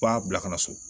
F'a bila ka na so